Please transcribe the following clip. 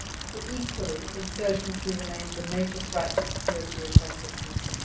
But, equally, insurgency remains a major threat to security across the country.